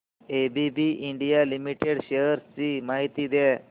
ABB India Limited shares ची माहिती द्या